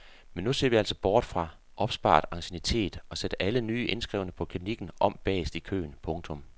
Men nu ser vi altså bort fra opsparet anciennitet og sætter alle nye indskrevne på klinikken om bagerst i køen. punktum